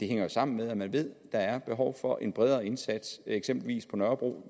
hænger jo sammen med at man ved at der er behov for en bredere indsats eksempelvis på nørrebro